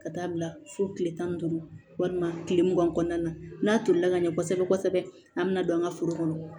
Ka taa bila fo kile tan ni duuru walima kile mugan kɔnɔna na n'a tolila ka ɲɛ kosɛbɛ kosɛbɛ an bɛna don an ka foro kɔnɔ